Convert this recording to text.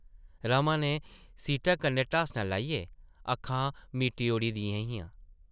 रमा नै सीटा कन्नै ढासना लाइयै अक्खां मीटी ओड़ी दियां हियां ।